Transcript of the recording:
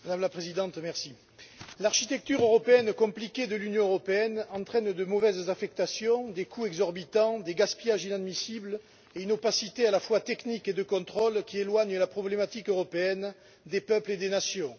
Madame la Présidente, l'architecture compliquée de l'Union européenne entraîne de mauvaises affectations, des coûts exorbitants, des gaspillages inadmissibles et une opacité à la fois technique et de contrôle qui éloigne la problématique européenne des peuples et des nations.